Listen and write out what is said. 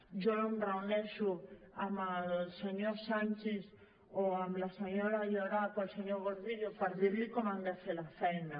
jo no em reuneixo amb el senyor sanchis o amb la senyora llorach o el senyor gordillo per dir los com han de fer la feina